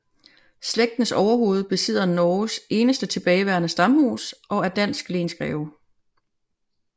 Slægtens overhoved besidder Norges eneste tilbageværende stamhus og er dansk lensgreve